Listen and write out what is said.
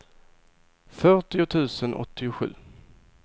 fyrtio tusen åttiosju